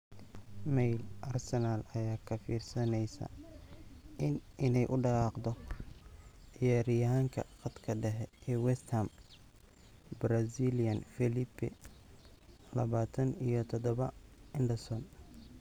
(Mail) Arsenal ayaa ka fiirsaneysa inay u dhaqaaqdo ciyaaryahanka khadka dhexe ee West Ham, Brazilian Felipe, labatan iyo todobaa, Anderson.